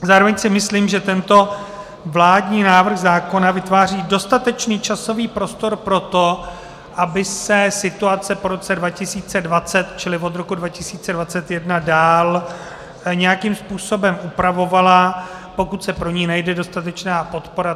Zároveň si myslím, že tento vládní návrh zákona vytváří dostatečný časový prostor pro to, aby se situace po roce 2020, čili od roku 2021, dál nějakým způsobem upravovala, pokud se pro ni najde dostatečná podpora.